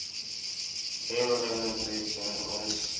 eo re mo tswetseng o